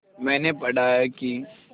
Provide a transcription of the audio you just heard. मैंने पढ़ा है कि